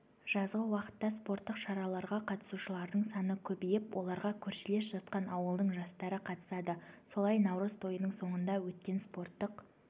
жазғы уақытта спорттық шараларға қатысушылардың саны көбейіп оларға көршілес жатқан ауылдың жастары қатысады солай наурыз тойының соңында өткен спорттық